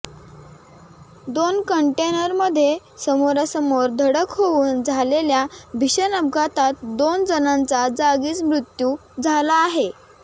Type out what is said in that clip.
दोन कंटेनरमध्ये समोरासमोर धडक होऊन झालेल्या भीषण अपघातात दोन जणांचा जागीच मृत्यू झाला आहे